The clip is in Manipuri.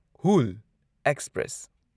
ꯍꯨꯜ ꯑꯦꯛꯁꯄ꯭ꯔꯦꯁ